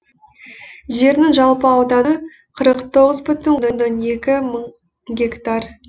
жерінің жалпы ауданы қырық тоғыз бүтін оннан екі мың гектар